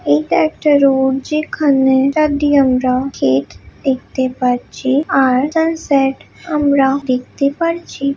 এইটা একটা রোড যেখানে -চারদিকে আমরা ক্ষেত দেখতে পাচ্ছি আর সানসেট আমরা -দেখতে পারছি।